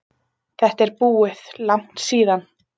Þetta er búið, langt síðan.